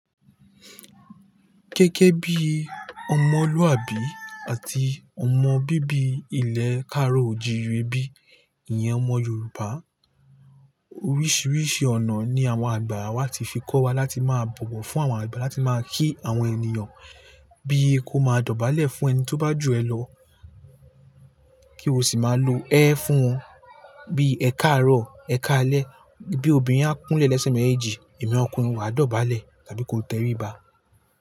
Gégé bí ọmọlúwàbí àti ọmọ bíbí ilẹ̀ karò òjìre bi. Ìyẹn ọmọ Yorùbá. Oríṣiríṣi ọ̀nà ni àwọn àgbà wa ti fi kọ́ wa láti máa bọ̀wọ̀ fún àwọn àgbà, láti máa kí àwọn ènìyàn, bí i kó máa dọ̀bálẹ̀ fún ẹni tí ó bá jù ẹ lọ, kí o sì máa lo ẹ́ fún won. Bí ẹ káàárọ̀, ẹ káalẹ́. Bí obìnrin á kúnlẹ̀ lẹ́sẹ̀ méjèèjì, èmi ọkùnrin màá dọ̀bálẹ̀ tàbí kó tẹríba.